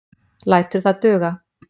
Lætur það duga.